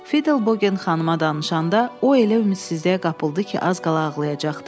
Fiddl Bogen xanıma danışanda o elə ümidsizliyə qapıldı ki, az qala ağlayacaqdı.